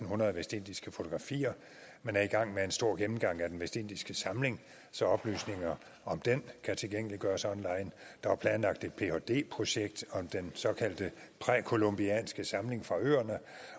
hundrede vestindiske fotografier man er i gang med en stor gennemgang af den vestindiske samling så oplysninger om den kan tilgængeliggøres online der er planlagt et phd projekt om den såkaldte præcolumbianske samling fra øerne